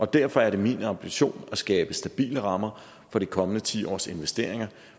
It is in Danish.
derfor er det min ambition at skabe stabile rammer for de kommende ti års investeringer